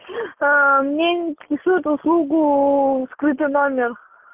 мне интересует услугу скрытый номер